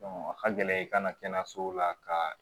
a ka gɛlɛn i ka na kɛnɛyasow la kaaa